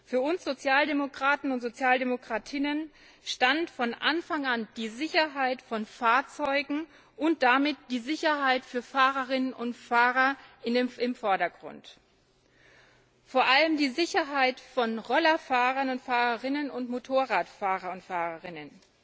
Für uns Sozialdemokraten und Sozialdemokratinnen stand von Anfang an die Sicherheit von Fahrzeugen und damit die Sicherheit für Fahrerinnen und Fahrer im Vordergrund, vor allem die Sicherheit von Rollerfahrern und fahrerinnen und Motorradfahrern und fahrerinnen.